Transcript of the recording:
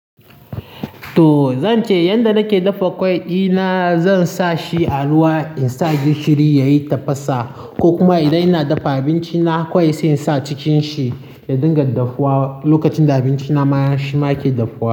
To zan ce yanda nake dafa ƙwai dina, zan sa shi a ruwa in sa gishiri yayi tafasa ko kuma idan ina dafa abinci na ƙwai sai in sa a cikin shi ya dinga daffuwa lokacin da abinci na mashin ma yake daffuwa.